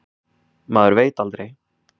Maður veit aldrei.